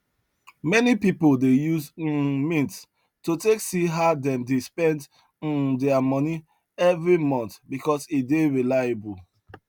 many people dey use um mint to take see how them dey spend um their money every month because e dey reliable